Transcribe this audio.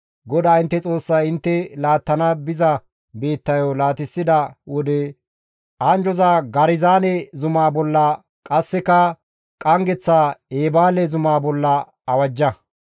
GODAA intte Xoossay intte laattana biza biittayo laatissida wode anjjoza Garizaane zumaa bolla qasseka qanggeththa Eebaale zumaa bolla awajja.